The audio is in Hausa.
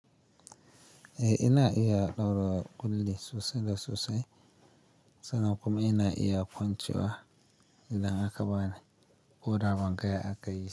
Eh ina iya ɗaura kulli sosai da sosai, sannan kuma ina iya kwancewa idan aka bani koda banga ya aka yi.